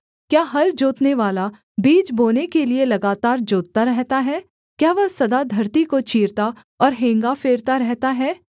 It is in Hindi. क्या हल जोतनेवाला बीज बोने के लिये लगातार जोतता रहता है क्या वह सदा धरती को चीरता और हेंगा फेरता रहता है